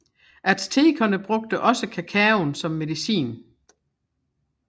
Aztekerne brugte også kakaoen som medicin